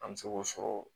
An bɛ se k'o sɔrɔ